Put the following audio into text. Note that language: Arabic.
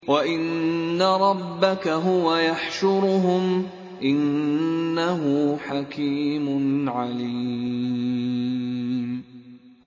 وَإِنَّ رَبَّكَ هُوَ يَحْشُرُهُمْ ۚ إِنَّهُ حَكِيمٌ عَلِيمٌ